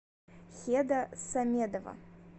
хеда самедова